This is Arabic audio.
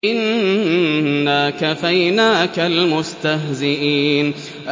إِنَّا كَفَيْنَاكَ الْمُسْتَهْزِئِينَ